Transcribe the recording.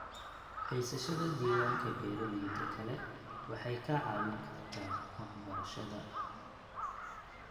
Haysashada diiwaanka beeralayda kale waxay kaa caawin kartaa waxbarashada.